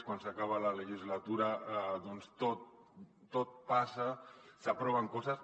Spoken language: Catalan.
quan s’acaba la legislatura doncs tot passa s’aproven coses